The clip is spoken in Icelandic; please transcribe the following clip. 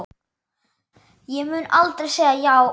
Ég mun aldrei segja já.